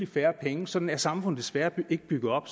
færre penge sådan er samfundet desværre ikke bygget op